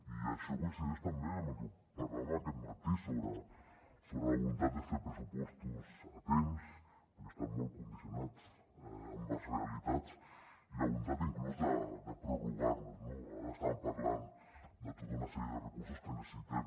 i això coincideix també amb el que parlàvem aquest matí sobre la voluntat de fer pressupostos a temps perquè estem molt condicionats amb les realitats i la voluntat inclús de prorrogar los no ara estàvem parlant de tota una sèrie de recursos que necessitem